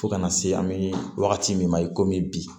Fo kana se an bɛ wagati min na i komi bi